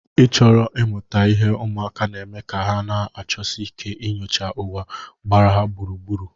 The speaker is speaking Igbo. Ịchọro ịmuta ihe ụmụaka na-eme ka ha na-achọsi ike inyocha ụwa gbara ha gburugburu.